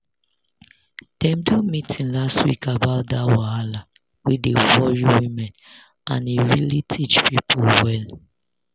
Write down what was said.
dem do meeting last week about that wahala wey dey worry women and e really teach people well."